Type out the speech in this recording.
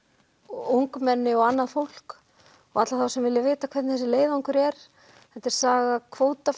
ungmenni og annað fólk alla þá sem vilja vita hvernig þessi leiðangur er þetta er saga